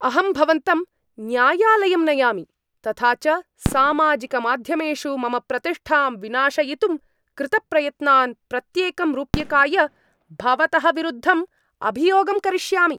अहं भवन्तं न्यायालयं नयामि, तथा च सामाजिकमाध्यमेषु मम प्रतिष्ठां विनाशयितुं कृतप्रयत्नान्, प्रत्येकं रूप्यकाय भवतः विरुद्धम् अभियोगं करिष्यामि।